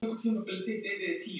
Má fá allt, eða ekkert.